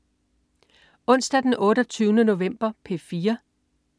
Onsdag den 28. november - P4: